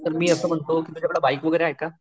पण मी असं म्हणतो तुझ्याकडे बाईक वैगरे आहे का?